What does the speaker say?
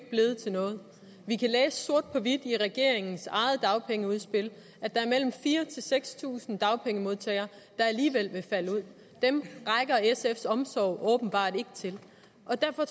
blevet til noget vi kan læse sort på hvidt i regeringens eget dagpengeudspil at der er mellem fire tusind og seks tusind dagpengemodtagere der alligevel vil falde ud dem rækker sfs omsorg åbenbart ikke til at